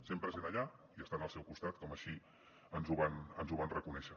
sempre sent allà i estant al seu costat com així ens ho van reconèixer